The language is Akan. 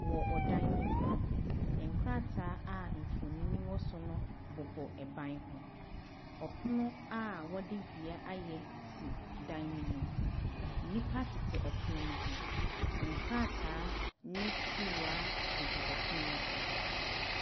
Wɔ ɔdan bi mu no, nkrataa a mfoni wɔ so no bobɔ ɛban ho. Ɔpono a wɔde dua ayɛ si dan no mu. Nnipa tete ɔpono no ho. Nkrataa ne kuruwa gugu ɔpono no so.